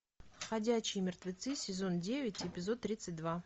ходячие мертвецы сезон девять эпизод тридцать два